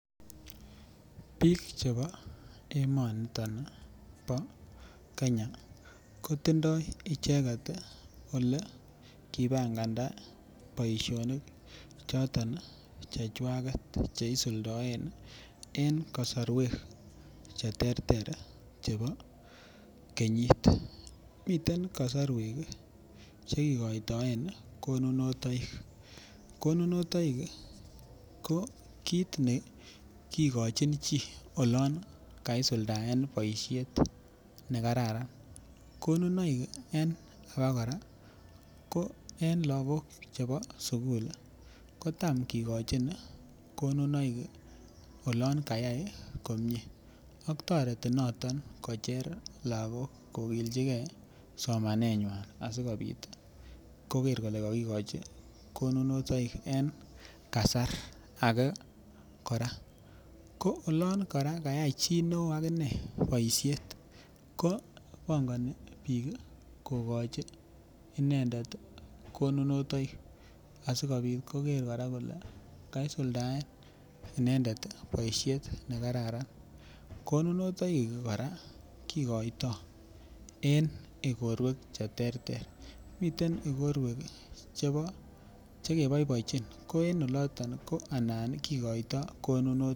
Biik chebo emoniton bo Kenya kotindoi icheket olekipanganda boishonik choton chechwaget cheisuldaen en kosorwek che ter ter chebo kenyit miten kosorwek chekikoitoen konunotoik, konunotoik ko kiit nekikochin chii olon kaisuldaen boishet nekararan konunoik en alak kora ko en lakok chebo sukul ko tam kekochin konunoik olin kayai komie ak toreti noton kocher lakok kokilchikei eng somaneng'wany asikobit koker kole kakikochi konunotoik en kasar age kora ko olon kora kayai chii neo akine boishet ko bongoni biik kokochi inendet konunotoik asikobit koker kora kole kaisuldaen inendet boishet nekararan konunotoik kora kikoitoi eng ikorwek che ter ter miten ikorwek chebo chekeboiboichin ko en oliton ko anan kikoitoi konunotoik.